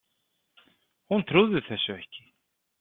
Hún trúði þessu ekki.